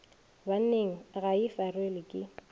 banneng ga e farelwe ke